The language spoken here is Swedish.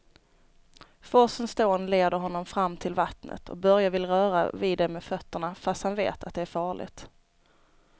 Forsens dån leder honom fram till vattnet och Börje vill röra vid det med fötterna, fast han vet att det är farligt.